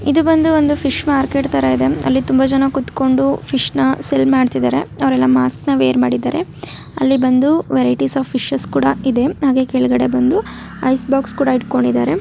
ಇದು ಬಂದು ಒಂದು ಫಿಶ್ ಮಾರ್ಕೆಟ್ ತರ ಇದೆ ಅಲ್ಲಿ ತುಂಬಾ ಜನ ಕೂತ್ಕೊಂಡಿದ್ದಾರೆ ಫಿಶ್ ಸೇಲ್ ಮಾಡ್ತಿದ್ದಾರೆ ಅವರೆಲ್ಲ ಮಾಸ್ಕ ವೇರ್ ಮಾಡಿದ್ದಾರೆ ಅಲ್ಲಿ ಬಂದು ವೆರೈಟಿ ಆಫ್ ಫಿಶ್ ಕೂಡ ಇದೆಐಸ್ ಬಾಕ್ಸಸ್ ಕೂಡ ಇಟ್ಕೊಂಡಿದ್ದಾರೆ.